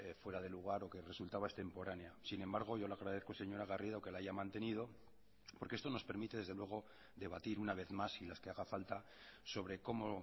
fuera de lugar o que resultaba extemporánea sin embargo yo le agradezco señora garrido que la haya mantenido porque esto nos permite desde luego debatir una vez más y las que haga falta sobre cómo